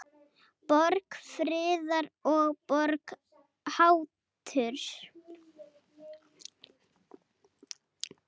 Borg friðar og borg haturs.